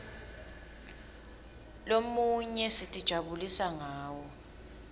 lomunye sitijabulisa ngawo